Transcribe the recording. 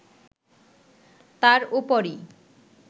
তার ওপরই